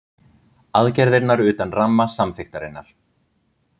Aðgerðirnar utan ramma samþykktarinnar